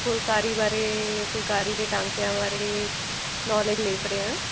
ਫੁਲਕਾਰੀ ਵਾਰੇ ਫੁਲਕਾਰੀ ਦੇ ਟਾਂਕਿਆਂ ਬਾਰੇ knowledge ਲੈ ਸਕਦੇ ਹਾਂ